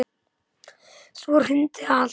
Svo hrundi allt.